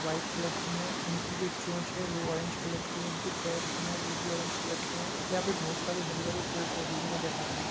White colour की है उनकी जो चोंच है वो ऑरेंज कलर की है उनके पैर जो हैं वो भी ऑरेंज कलर के हैं। यहाँ पे बहोत सारे हरे भरे पेड़ पौधे भी नजर आ रहे हैं।